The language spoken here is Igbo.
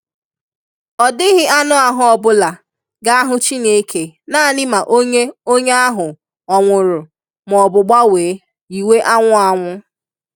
Ọ dighi anụ ahụ ọ bula ga ahụ Chineke nani ma onye onye ahụ Ọ nwụrụ ma ọbụ gbanwe yiwe anwụ anwụ.